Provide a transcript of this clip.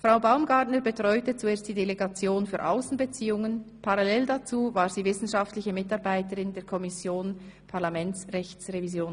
Frau Baumgartner betreute zuerst die Delegation für Aussenbeziehungen, parallel dazu war sie wissenschaftliche Mitarbeiterin der Kommission Parlamentsrechtsrevision.